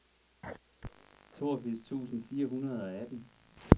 toogfirs tusind fire hundrede og atten